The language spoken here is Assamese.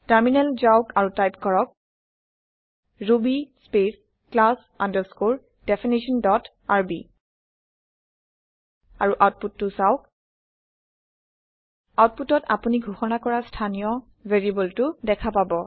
টাৰমিনেল যাওক আৰু টাইপ কৰক ruby space class underscore definition dot R B আৰু আওতপুতটো চাওঁক আওতপুটত আপোনি ঘোষণা কৰা স্থানীয় ভেৰিয়েবলটো দেখা পাব